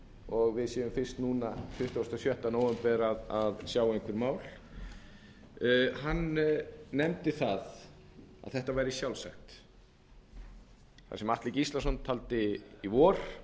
og við séum fyrst núna tuttugasta og sjötta nóvember að sjá einhver mál hann nefndi það að þetta væri sjálfsagt það sem háttvirtur þingmaður atli gíslason taldi í vor